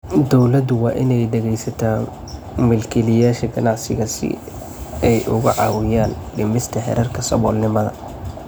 Dawladdu waa inay dhegaysataa milkiilayaasha ganacsiga si ay uga caawiyaan dhimista heerarka saboolnimada.